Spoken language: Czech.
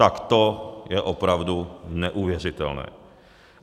Tak to je opravdu neuvěřitelné.